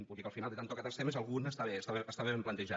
vull dir que al final de tant tocar tants temes algun està bé està ben plantejat